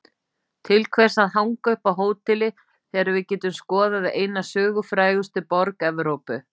Til hvers að hanga upp á hóteli þegar við getum skoðað eina sögufrægustu borg Evrópu?